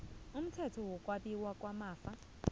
umthetho wokwabiwa kwamafa